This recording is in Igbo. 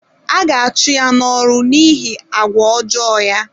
A ga-achụ ya n’ọrụ n’ihi àgwà ọjọọ ya.